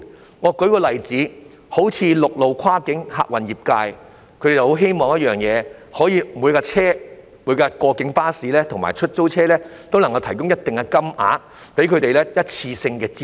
讓我舉一個例子，陸路跨境客運業界希望政府可以為每輛跨境巴士及出租車提供一定金額的一次性資助。